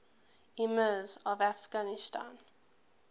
emirs of afghanistan